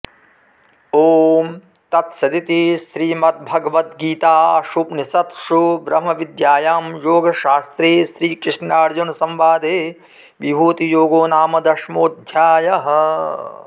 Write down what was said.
ॐ तत्सदिति श्रीमद्भगवद्गीतासूपनिषत्सु ब्रह्मविद्यायां योगशास्त्रे श्रीकृष्णार्जुनसंवादे विभूतियोगो नाम दशमोऽध्यायः